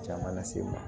Caman lase n ma